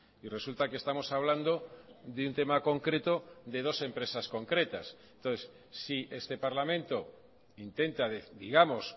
y resulta que estamos hablando de un tema concreto de dos empresas concretas entonces si este parlamento intenta digamos